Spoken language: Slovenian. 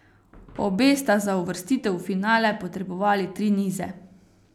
Obe sta za uvrstitev v finale potrebovali tri nize.